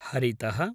हरितः